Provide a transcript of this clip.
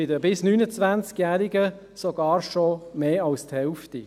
Bei den Bis-29-Jährigen ist es sogar schon mehr als die Hälfte.